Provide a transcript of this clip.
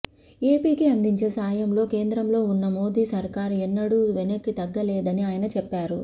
ఏపీకి అందించే సాయంలో కేంద్రంలో ఉన్న మోదీ సర్కార్ ఎన్నడూ వెనక్కి తగ్గలేదని ఆయన చెప్పారు